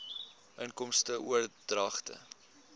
inkomste oordragte